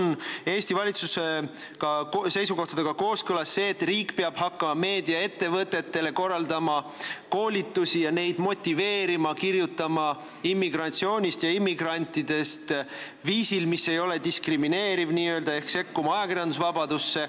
Kas Eesti valitsuse seisukohtadega on kooskõlas ka see, et riik peab hakkama meediaettevõtetele korraldama koolitusi ja neid motiveerima kirjutama immigratsioonist ja immigrantidest viisil, mis ei ole n-ö diskrimineeriv, ehk sekkuma ajakirjandusvabadusse?